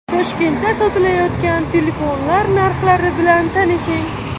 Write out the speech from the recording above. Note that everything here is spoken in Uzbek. Toshkentda sotilayotgan telefonlar narxlari bilan tanishing.